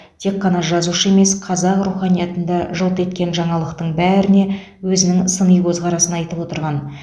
тек қана жазушы емес қазақ руханиятын да жылт еткен жаңалықтың бәріне өзінің сыни көзқарасын айтып отырған